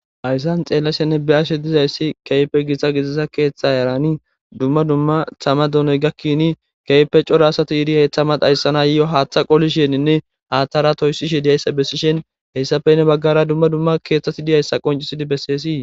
Ayssan xeellashenne bi ashe dizayssi keype giitsa gisissa keeththa erani dumma dumma thama donoy gakkini keype cora asati iiri heyththa madhayssana yi'o haaththa qolisheninne haaththaratoyssishe diyayssa bessishen heyssafenne baggara dumma dumma keeththati diyayssa qoncisidi besseesii.